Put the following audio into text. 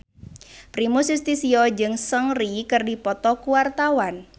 Primus Yustisio jeung Seungri keur dipoto ku wartawan